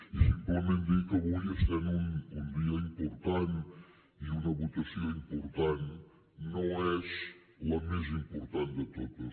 i simplement dir que avui essent un dia important i una votació important no és la més important de totes